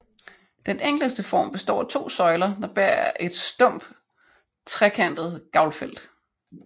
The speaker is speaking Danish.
Den enkleste form består af to søjler der bærer et stump trekantet gavlfelt